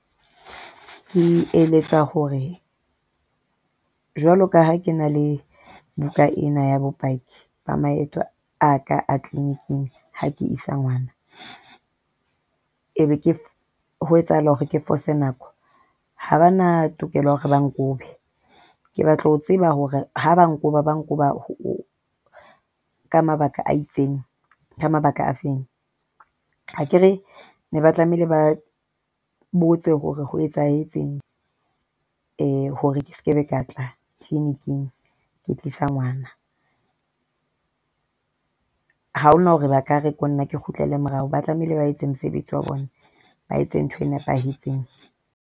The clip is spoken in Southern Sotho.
Ke eletsa hore jwalo ka ha ke na le buka ena ya bopaki ba maeto a ka clinic-ing ha ke isa ngwana e be ke ho etsahala hore ke fose nako ha bana tokelo ya hore ba nkobe ke batla ho tseba hore ha ba nkoba ba nkoba ka mabaka a itseng ka mabaka a fe. Akere ne ba tlamehile ba botse hore ho etsahetseng hore ke sekebe ka tla clinic-ng, ke tlisa ngwana. Ha hona hore ba ka re ko nna ke kgutlele morao. Ba tlamehile ba etse mosebetsi wa bona, ba etse ntho e nepahetseng.